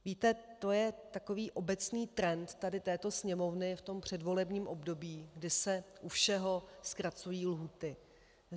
- Víte, to je takový obecný trend tady této Sněmovny v tom předvolebním období, kdy se u všeho zkracují lhůty.